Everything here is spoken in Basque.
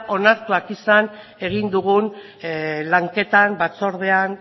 onartuak izan egin dugun lanketan batzordean